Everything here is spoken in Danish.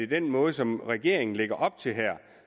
den måde som regeringen lægger op til her